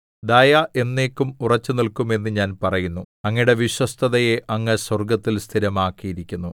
ദയ എന്നേക്കും ഉറച്ചുനില്ക്കും എന്ന് ഞാൻ പറയുന്നു അങ്ങയുടെ വിശ്വസ്തതയെ അങ്ങ് സ്വർഗ്ഗത്തിൽ സ്ഥിരമാക്കിയിരിക്കുന്നു